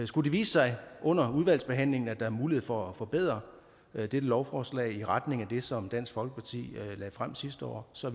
skulle det vise sig under udvalgsbehandlingen at der er mulighed for at forbedre dette lovforslag i retning af det som dansk folkeparti lagde frem sidste år så